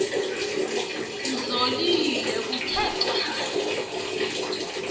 kuzolile kuthe cwaka